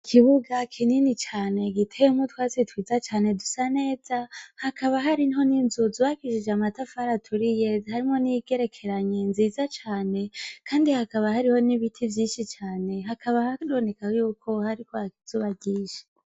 Ikibuga kinini cane giteyemw' utwatsi twiza cane dusa neza, hakaba hariho n' inzu zubakishij' amatafar' aturiye ziriko n' amabati yera n' ayatukura zigerekeranye nziza cane kandi hakaba hariho n' ibiti vyinshi cane hakaba haboneka yuko hari kwak' izuba ryinshi.